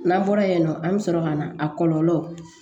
N'an bɔra yen nɔ an bɛ sɔrɔ ka na a kɔlɔlɔ